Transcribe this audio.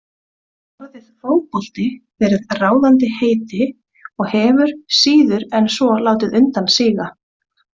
Þar hefur orðið fótbolti verið ráðandi heiti og hefur síður en svo látið undan síga.